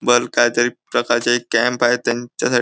bulk काहीतरी प्रकारचे एक कॅम्प आहे त्यांच्यासा --